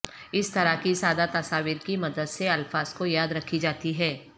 اس طرح کی سادہ تصاویر کی مدد سے الفاظ کو یاد رکھی جاتی ہے